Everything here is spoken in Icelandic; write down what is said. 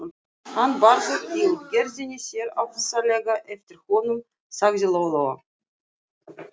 Hann Bárður í útgerðinni sér ofsalega eftir honum, sagði Lóa Lóa.